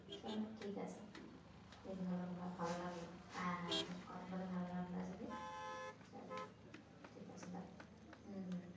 চলো ঠিক আছে বেশ ভালো হলো ভালো লাগলো হ্যাঁ হ্যাঁ বেশ কথা বলে ভালো লাগলো আজকে চলো ঠিক আছে bye উম হম